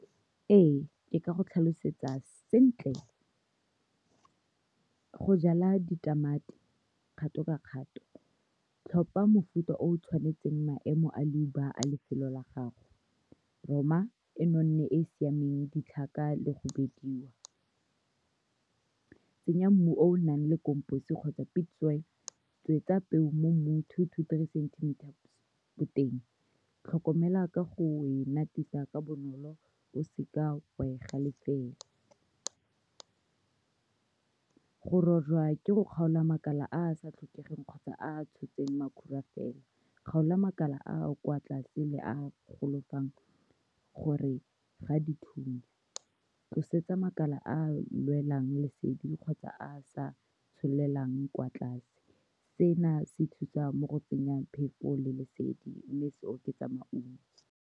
Ee, ke ka go tlhalosetsa sentle go jala ditamati kgato ka kgato. Tlhopha mofuta o o tshwanetseng maemo a leuba a lefelo la gago. Roma e nonne e e siameng, ditlhaka le go bidiwa. Tsenya mmu o o nang le kgotsa pit soil. Tswetsa peo mo mmung two to three centimetre boteng. Tlhokomela ka go e ka bonolo, o se ke wa e galefela. Go rorwa ke go kgaola makala a a sa tlhokegeng kgotsa a a tshotseng makhura fela. Kgaola makala a a kwa tlase le a gore ga dithunya. Tlosetsa makala a a lwelang lesedi kgotsa a a sa tsholelang kwa tlase, se na se thusang mo go tsenyeng phefo le lesedi, mme se oketsa maungo.